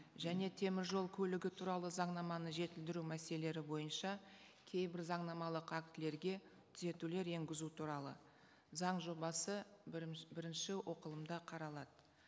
және теміржол көлігі туралы заңнаманы жетілдіру мәселелері бойынша кейбір заңнамалық актілерге түзетулер енгізу туралы заң жобасы бірінші оқылымда қаралады